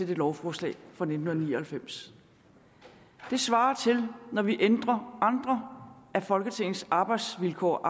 det lovforslag fra nitten ni og halvfems det svarer til når vi ændrer andre af folketingets arbejdsvilkår og